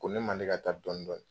Ko ne Male ka taa dɔni dɔni